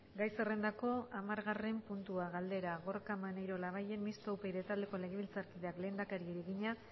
gai zerrendako hamargarren puntua galdera gorka maneiro labayen mistoa upyd taldeko legebiltzarkideak lehendakariari egina